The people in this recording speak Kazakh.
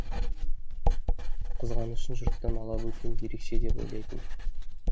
қызғанышын жұрттан ала бөтен ерекше деп ойлайтын